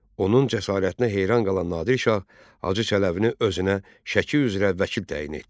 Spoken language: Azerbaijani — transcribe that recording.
Onun cəsarətinə heyran qalan Nadir şah Hacı Çələbini özünə Şəki üzrə vəkil təyin etdi.